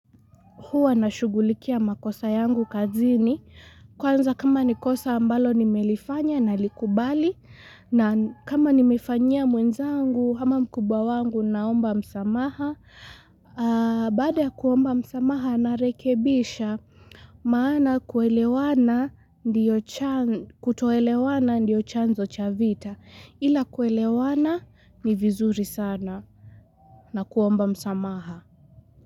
Huwa na shughulikia makosa yangu kazini. Kwanza kama ni kosa ambalo nimelifanya nalikubali. Na kama nimefanyia mwenzangu ama mkubwa wangu naomba msamaha. Baada ya kuomba msamaha na lrekebisha maana kuelewana kutoelewana ndiyo chanzo cha vita. Ila kuelewana ni vizuri sana na kuomba msamaha.